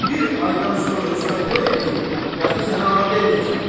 Bir aydan sonra özümə toy eləyib, dəxi sənə ana deməyəcəm.